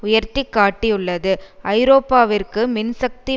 உயர்த்தி காட்டியுள்ளது ஐரோப்பாவிற்கு மின்சக்தி